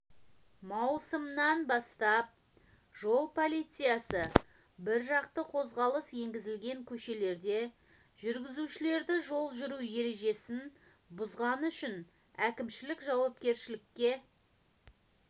маусымнан бастап жол полициясы біржақты қозғалыс енгізілген көшелерде жүргізушілерді жол жүру ережесін бұзғаны үшін әкімшілік жауапкершілікке